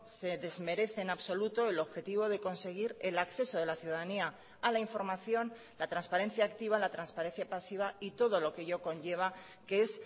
se desmerece en absoluto el objetivo de conseguir el acceso de la ciudadanía a la información la transparencia activa la transparencia pasiva y todo lo que ello conlleva que es